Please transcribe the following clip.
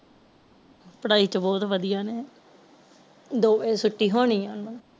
ਪੜਾਈ ਚ ਬੋਤ ਵਧਿਆ ਨੇ ਦੋ ਵਜੇ ਛੁਟੀ ਹੋਣੀ ਆ ਓਹਨਾ ਨੂੰ